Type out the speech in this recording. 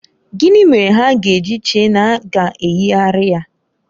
Gịnị mere ha ga-eji chee na a ga-eyigharị ya?